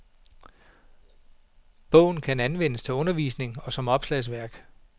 Bogen kan anvendes til undervisning og som opslagsværk.